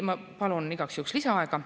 Ma palun igaks juhuks lisaaega.